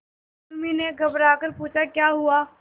उर्मी ने घबराकर पूछा क्या हुआ